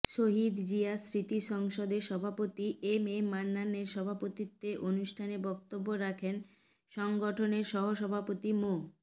শহীদ জিয়া স্মৃতি সংসদের সভাপতি এম এ মান্নানের সভাপতিত্বে অনুষ্ঠানে বক্তব্য রাখেন সংগঠনের সহসভাপতি মো